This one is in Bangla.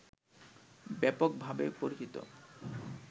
ব্যাপকভাবে পরিচিত